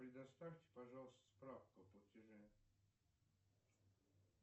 предоставьте пожалуйста справку о платеже